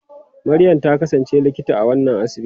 Maryam ta kasance Likita a wannan asibiti.